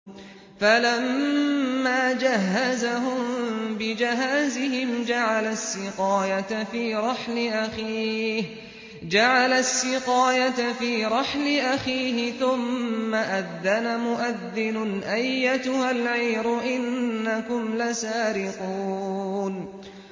فَلَمَّا جَهَّزَهُم بِجَهَازِهِمْ جَعَلَ السِّقَايَةَ فِي رَحْلِ أَخِيهِ ثُمَّ أَذَّنَ مُؤَذِّنٌ أَيَّتُهَا الْعِيرُ إِنَّكُمْ لَسَارِقُونَ